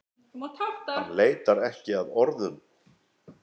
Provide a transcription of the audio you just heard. Hann leitar ekki að orðum.